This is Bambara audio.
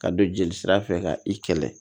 Ka don jeli sira fɛ ka i kɛlɛ